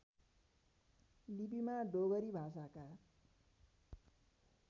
लिपिमा डोगरी भाषाका